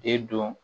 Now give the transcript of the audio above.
De don